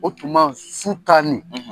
O tuma, su ta nin.